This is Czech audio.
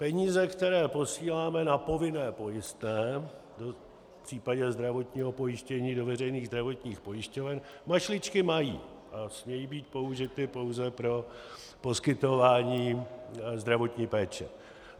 Peníze, které posíláme na povinné pojistné v případě zdravotního pojištění do veřejných zdravotních pojišťoven, mašličky mají a smějí být použity pouze pro poskytování zdravotní péče.